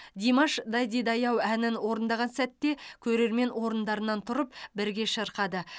димаш дайдидай ау әнін орындаған сәтте көрермен орындарынан тұрып бірге шырқады